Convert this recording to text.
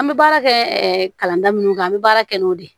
An bɛ baara kɛ kalan da minnu kan an bɛ baara kɛ n'o de ye